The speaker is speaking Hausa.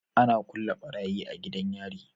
Ana kulle barayi a gidan yari